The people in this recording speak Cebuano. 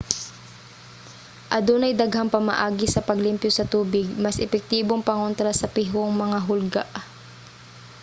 adunay daghang pamaagi sa paglimpyo sa tubig mas epektibong pangontra sa pihong mga hulga